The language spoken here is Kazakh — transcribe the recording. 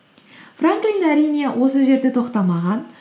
франклин әрине осы жерде тоқтамаған